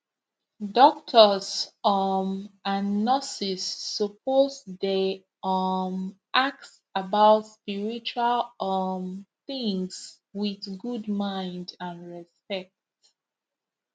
doctors um and nurses suppose dey um ask about spiritual um things with good mind and respect